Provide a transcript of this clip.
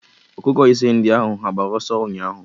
Ọkụkọ ise ndị ahụ ha gbara ọsọ ụnyaahụ?